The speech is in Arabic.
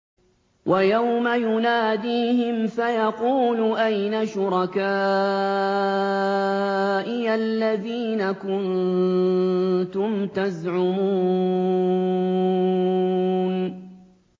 وَيَوْمَ يُنَادِيهِمْ فَيَقُولُ أَيْنَ شُرَكَائِيَ الَّذِينَ كُنتُمْ تَزْعُمُونَ